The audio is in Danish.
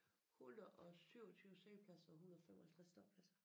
127 siddepladser og 155 ståpladser